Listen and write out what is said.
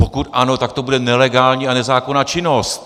Pokud ano, tak to bude nelegální a nezákonná činnost!